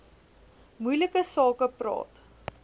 moeilike sake praat